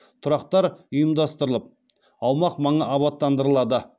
тұрақтар ұйымдастырылып аумақ маңы абаттандырылады